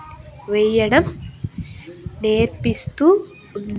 వెయ్యడం నేర్పిస్తూ ఉన్--